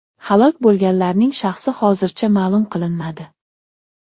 Halok bo‘lganlarning shaxsi hozircha ma’lum qilinmadi.